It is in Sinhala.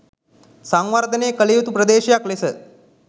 සංවර්ධනය කළ යුතු ප්‍රදේශයක් ලෙස